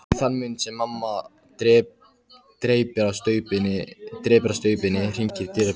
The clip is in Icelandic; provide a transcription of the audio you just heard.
Í þann mund sem mamma dreypir á staupinu hringir dyrabjallan.